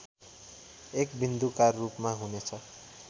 एक बिन्दुकारूपमा हुनेछ